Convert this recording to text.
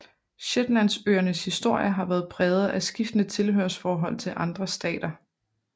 Shetlandsøernes historie har været præget af skiftende tilhørsforhold til andre stater